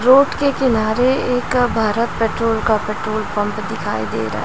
road के किनारे एक भारत पेट्रोल का पेट्रोल पंप दिखाई दे रहा--